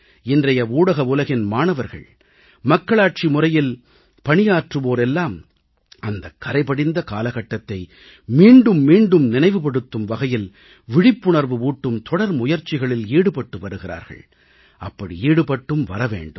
இன்றைய ஊடக உலகின் மாணவர்கள் மக்களாட்சி முறையில் பணியாற்றுவோர் எல்லாம் அந்த கறைபடிந்த காலகட்டத்தை மீண்டும் மீண்டும் நினைவுபடுத்தும் வகையில் விழிப்புணர்வு ஊட்டும் தொடர் முயற்சிகளில் ஈடுபட்டு வருகிறார்கள் அப்படி ஈடுபட்டும் வர வேண்டும்